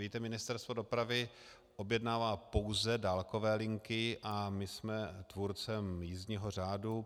Víte, Ministerstvo dopravy objednává pouze dálkové linky a my jsme tvůrcem jízdního řádu.